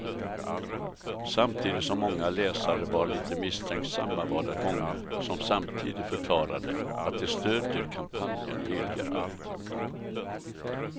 Samtidigt som många läsare var lite misstänksamma var det många som samtidigt förklarade att de stödjer kampanjen helhjärtat.